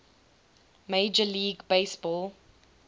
major league baseball